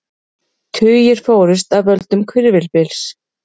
Tugir fórust af völdum hvirfilbyls